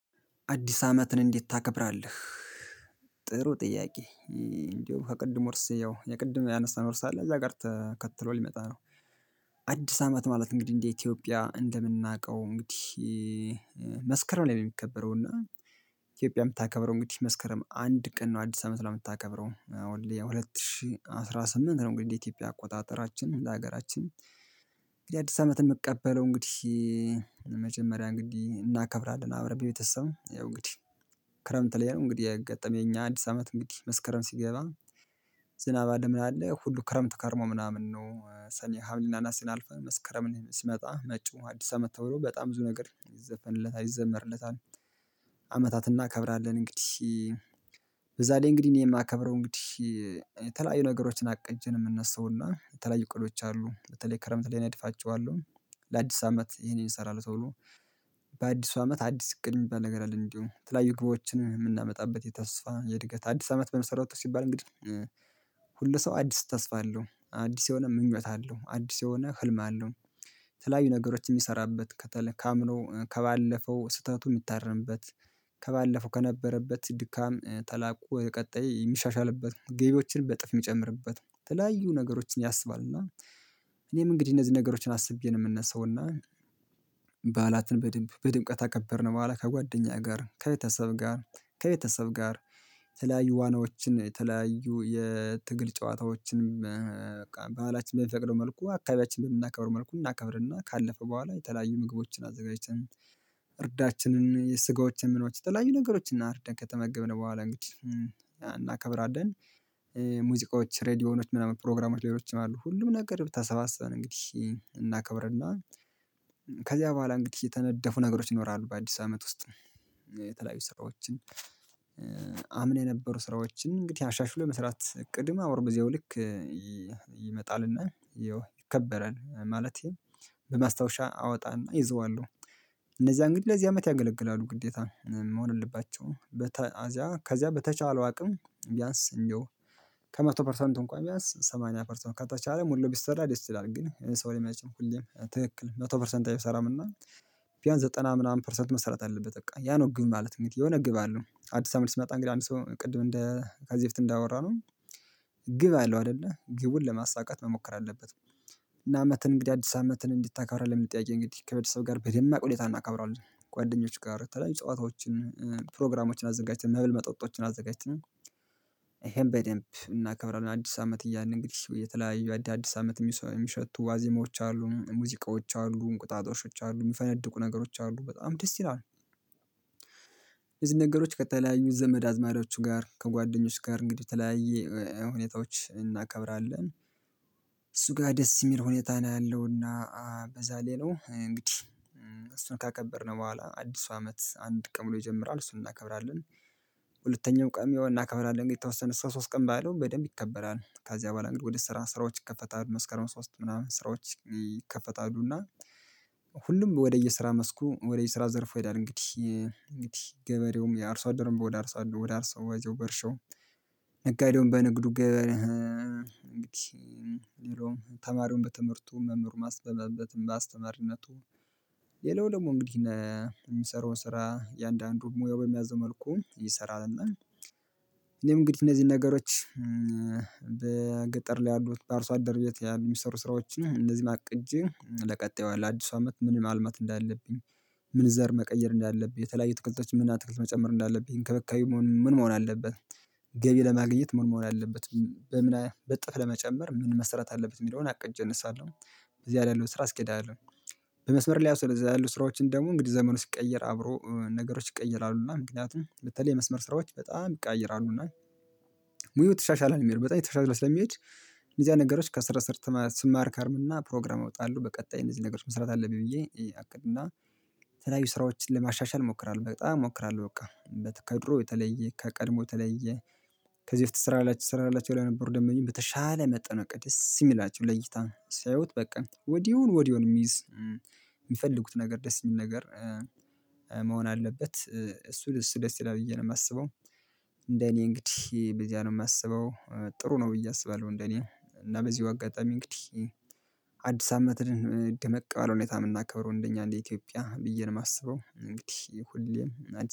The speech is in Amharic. አዲስ አመትን እንዴት ታከብራለህ? ጥሩ ጥያቄ እንደውም ከቅድሙ ርዕስ ያው የቅድም ያነሳን ርዕስ አለ ተከትሎ ሊመጣ ነው። አዲስ አመት ማለት እንግዲህ እንደ ኢትዮጵያ እንደምናውቀው እንግዲህ። መስከረም ላይ የሚከበረው እና ኢትዮጵያ የምታከብረው እንግዲህ መስከረም አንድ ቀን ነው። አዲስ አመት ላይ የምታከብረው ወልድ የሁለት ሺህ አስራ ስምንት ነው። እንግዲህ የኢትዮጵያ አቆጣጠራችን ለሀገራችን። እንግዲህ አዲስ አመት የምቀበለው እንግዲህ መጀመሪያ እንግዲህ እናከብራለን አብረን ቤተሰብ እንግዲህ። ክረምት ላይ ነው እንግዲህ የገጠመኝ አዲስ አመት እንግዲህ መስከረም ሲገባ። ዝናብ ሁሉ ምን አለ ሁሉ ክረምት ከርሞ ምናምን ነው ሰኔ ሀምሌ እና ነሀሴን አልፈን መስከረምን ሲመጣ መጪው አዲስ አመት ተውሎ በጣም ብዙ ነገር ይዘፈንለት ይዘመርለታል። አመታትን እናከብራለን እንግዲህ። በዛ ላይ እንግዲህ እኔ የማከብረው እንግዲህ የተለያዩ ነገሮችን አቅጄ ነው የምነሳውና የተለያዩ እቅዶች አሉ በተለይ ክረምት ላይ እነድፋቸዋለሁ። ለአዲስ አመት ይሄንን እሰራለሁ ተብሎ። በአዲሱ አመት አዲስ እድ ሚባል ነገር አለን እንዲሁ የተለያዩ የግብዎችን የምናመጣበት የተስፋ የእድገት አዲስ አመት በመሰረቱ ሲባል እንግዲህ። ሁሉ ሰው አዲስ ተስፋ አለው አዲስ የሆነ ምኞት አለው አዲስ የሆነ ህልም አለው። የተለያዩ ነገሮች የሚሰራበት ከተለያዩ ከባለፈው ስህተቱ የሚታረምበት። ከባለፈው ከነበረበት ድካም ተላቆ ወደ ቀጣይ የሚሻሻልበት ገቢዎችን በእጥፍ የሚጨምርበት የተለያዩ ነገሮችን ያስባል እና። እኔም እንግዲህ እነዚህን ነገሮችን አስቤ ነው የምንነሳው። እና በዓላትን በድምብ በድምቀት አከበርን በኋላ ከጓደኛ ጋር ከቤተሰብ ጋር። ከቤተሰብ ጋር። የተለያዩ ዋናዎችን የተለያዩ የትግል ጨዋታዎችንም በቃ በኋላችን በሚፈቅደው መልኩ አካባቢያችንን በምናከብር መልኩ እናከብርና ካለፈ በኋላ የተለያዩ ምግቦችን አዘጋጅተን። እርዳችንን የስጋዎችን ምኖችን የተለያዩ ነገሮችን እና አርደን ከተመገብን በኋላ እንግዲህ እናከብራለን። ሙዚቃዎች ሬድዮኖች ምናምን ፕሮግራሞች ሌሎችም አሉ ሁሉም ነገር ተሰባስበን እንግዲህ እናከብርና። ከዚያ በኋላ እንግዲህ የተነደፉ ነገሮች ይኖራሉ በአዲስ አመት ውስጥ። የተለያዩ ስራዎችን። አምና የነበሩ ስራዎችን እንግዲህ አሻሽሎ የመስራት እቅድም አብሮ በዚያው ልክ ይመጣልና። ይከበራል ማለቴ። በማስታወሻ አወጣና እይዘዋለሁ። እነዚያ እንግዲህ ለዚህ አመት ያገለግላሉ ግዴታ መሆን የለባቸውም በተአዚያ ከዚያ በተቻለው አቅም ቢያንስ እንደው። ከመቶ ፐርሰንቱ እንኳን ቢያንስ ሰማንያ ፐርሰንት ከተቻለ ሙሉ ቢሰራ ደስ ይላለ እንግዲህ ሰው ላይ መቼም ሁሌም ትክክል መቶ ፐርሰንት አይሰራም እና። ቢያንስ ዘጠና ምናምን ፐርሰንት መሰራት አለበት በቃ ያ ነው ግብ ማለት እንግዲህ የሆነ ግብ አለው አዲስ አመት ሲመጣ እንግዲህ አንድ ሰው ቅድም እንደ ከዚህ በፊት እንዳወራነው። ግብ አለው አይደለ ግቡን ለማሳካት መሞከር አለበት። እና አመት እንግዲህ አዲስ አመትን እንዴት ታከብራለህ? የሚል ጥያቄ እንግዲህ ከቤተሰብ ጋር በደማቅ ሁኔታ እናካብራለን ጓደኞች ጋር ተለያይ ጨዋታዎችን ፕሮግራሞችን አዘጋጅተን መብል መጠጦችን አዘጋጅተን። ይሄን በደንብ እናከብራለን አዲስ አመት እያልን እንግዲህ የተለያዩ አዲስ አመት የሚሸቱ ዋዜሞች አሉ ሙዚቃዎች አሉ እንቁጣጦሾች አሉ የሚፈነድቁ ነገሮች አሉ በጣም ደስ ይላል። የዚህ ነገሮች ከተለያዩ ዘመድ አዝማዶች ጋር ከጓደኞች ጋር እንግዲህ ተለያየ ሁኔታዎች እናከብራለን። እሱ ጋር ደስ የሚል ሁኔታ ነው ያለውና። በዛ ሊላው እንግዲህ። እሱን ካከበርን በኋላ አዲሱ አመት አንድ ቀን ብሎ ይጀምራል እሱን እናከብራለን። ሁለተኛው ቀን ያው እናከብራለን የተወሰነ ሰው ሶስት ቀን ባለው በደንብ ይከበራል ከዚያ በኋላ እንግዲ ወደ ስራ ስራዎች ይከፈታሉ መስከረም ሶስት ምናምን ስራዎች ይከፈታሉና። ሁሉም ወደየስራ መስኩ ወደየስራ ዘርፎ ይሄዳል እንግዲህ። እንግዲህ ገበሬውም የአርሶ አደርም ወደ አርሶ ወደ አርሶ ወደ አርሶ በእርሻው። ነጋዴውም በንግዱ ገ እንግዲህ። የለውም ተማሪውን በትምህርቱ መምህሩም ማስበመበትም በአስተማሪነቱ። ሌላው ደግሞ እንግዲህ። የሚሰራው ስራ የአንዳንዱን ሙያው በሚያዘው መልኩ ይሰራልና። እኔም እንግዲህ እነዚህን ነገሮች። በገጠር ላይ ያሉት በአርሶ አደር ቤት ያሉ ሚሰሩ ስራዎችን እነዚህን አቅጄ ለቀጣዩ ለአዲሱ አመት ምንም ማልማት እንዳለብኝ። ምን ዘር መቀየር እንዳለብኝ የተለያዩ አትክልቶች ምን አትክልት መጨመር እንዳለብኝ እንክብካቤ መሆን ምን መሆን አለበት። ገቢ ለማግኘት ምን መሆን መሆን አለበት። በምን እጥፍ ለመጨመር ምን መሰራት አለበት የሚለውን አቅጄ እነሳለሁ። እዚያ ላይ ያለው ስራ አስኬዳለው። በመስመር ላይ ስለዚያ ያሉ ስራዎችን ደግሞ እንግዲህ ዘመኑ ሲቀየር አብሮ ነገሮች ይቀየራሉ እና ምክንያቱም በተለይ የመስመር ስራዎች በጣም ይቀያየራሉና። ሙያው ተሻሻለ ነው የሚለው በጣም የተሻሻለ ስለሚሄድ። እነዚያ ነገሮች ከስር ስር ስማር ይከርም እና ፕሮግራም እወጣለሁ በቀጣይ እነዚህ ነገሮች መስራት አለብኝ ብዬ አቅድ እና። የተለያዩ ስራዎችን ለማሻሻል እሞክራለሁ በጣም እሞክራለሁ በቃ። ከድሮ የተለየ ከቀድሞ የተለየ። ከዚህ ትስራላችሁ ትሰራላችሁ ለነበሩ ደነበኞች በተሻለ መጠን እቅድ ደስ የሚላቸው ለይታ ሲያዩት በቃ ወዲያውኑ ወዲያውኑ የሚይዝ የሚፈልጉት ነገር ደስ የሚል ነገር። መሆን አለበት እሱ ደስ ይላል ብዬ ነው የማስበው። እንደ እኔ እንግዲህ በዚያ ነው የማስበው ጥሩ ነው ብዬ አስባለሁ እንደኔ እና በዚው አጋጣሚ እንግዲህ። አዲስ አመትን ደመቅ ባለ ሁኔታ የምናከብረው እንደኛ እንደ ኢትዮጵያ ብዬ ነው የማስበው እንግዲህ ሁሌም።